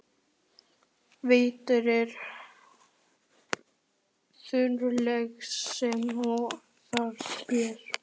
Vetur er þunglyndislegri sem og vera ber.